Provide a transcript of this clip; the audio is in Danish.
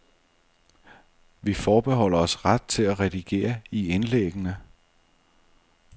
Vi forbeholder os ret til at redigere i indlæggene.